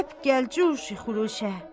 Həp gəlcüşi xuluşə.